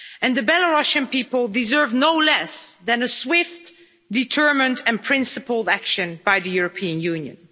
The Belarusian people deserve no less than swift, determined and principled action by the European Union.